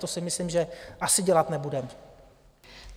To si myslím, že asi dělat nebude.